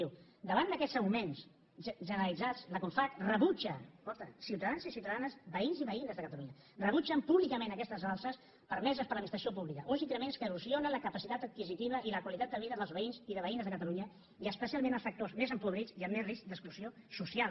diu davant d’aquests augments generalitzats la confavc rebutja escolta ciutadans i ciutadanes veïns i veïnes de catalunya públicament aquestes alces permeses per l’administració pública uns increments que erosionen la capacitat adquisitiva i la qualitat de vida dels veïns i veïnes de catalunya i especialment els sectors més empobrits i amb més risc d’exclusió social